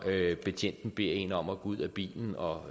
betjenten beder en om at gå ud af bilen og